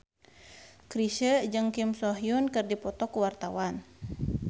Chrisye jeung Kim So Hyun keur dipoto ku wartawan